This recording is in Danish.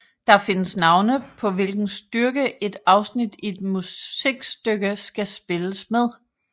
Der findes navne på hvilken styrke et afsnit i et musikstykke skal spilles med